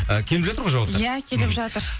ы келіп жатыр ғой жауаптар иә келіп жатыр